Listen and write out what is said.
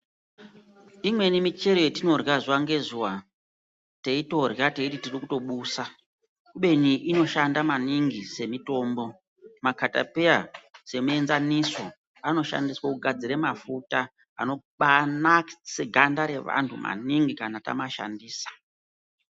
Imweni michero yetinorya zuva ngezuva, teitorya teiti tirikutobusa, kubeni inoshanda maningi semitombo. Makatapeya semuenzaniso, anoshandiswa kugadzira mafuta anobaanakisa ganda revantu maningi, kana tamashandisa.